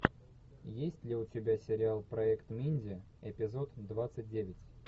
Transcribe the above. есть ли у тебя сериал проект минди эпизод двадцать девять